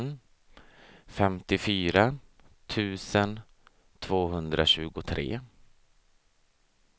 femtiofyra tusen tvåhundratjugotre